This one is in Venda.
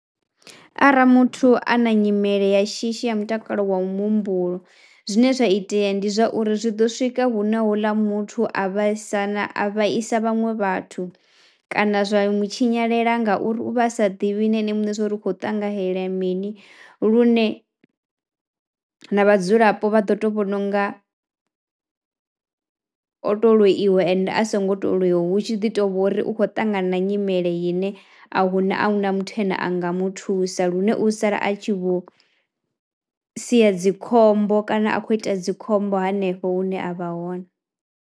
Arali muthu a na nyimele ya shishi ya mutakalo wa muhumbulo zwine zwa itea ndi zwauri zwi ḓo swika hune houḽa muthu a vhaisa na a vhaisa vhaṅwe vhathu kana zwa mu tshinyalela ngauri u vha a sa ḓivhi na ene muṋe zwouri hu khou ṱangahela mini lune na vhadzulapo vha ḓo to vhona unga o to loiwe ende a songo to loiwa hu tshi ḓi to vhori u kho ṱangana na nyimele ine a huna a huna muthu ene anga muthusa lune u sala a tshi vho sia dzikhombo kana a khou ita dzikhombo hanefho hune a vha hone.